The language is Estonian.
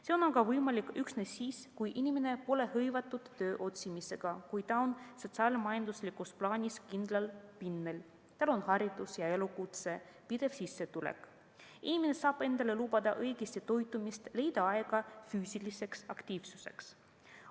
See on aga võimalik üksnes siis, kui inimene pole hõivatud töö otsimisega, kui ta on sotsiaal-majanduslikus plaanis kindlal pinnal, tal on haridus ja elukutse, pidev sissetulek, inimene saab endale lubada õigesti toitumist, leida aega füüsiliseks aktiivsuseks.